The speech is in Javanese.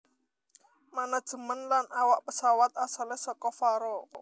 Manajemen lan awak pesawat asale saka Faroe